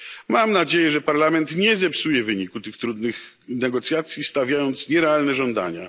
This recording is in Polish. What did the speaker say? Mam nadzieję, że Parlament nie zepsuje wyniku tych trudnych negocjacji, stawiając nierealne żądania.